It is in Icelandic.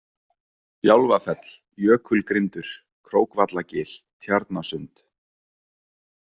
Bjálfafell, Jökulgrindur, Krókvallagil, Tjarnasund